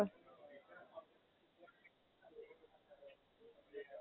અચ્છા, અમદાવાદ જાય છે ફરવા?